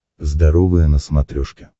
здоровое на смотрешке